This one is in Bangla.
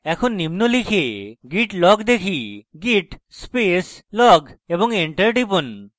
এখন নিম্ন লিখে git log দেখি git space log এবং enter টিপুন